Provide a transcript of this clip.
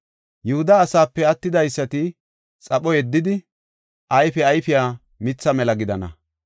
Yihuda asaape attidaysati xapho yeddidi, ayfe ayfiya mitha mela gidana.